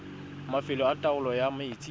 mafelo a taolo ya metsi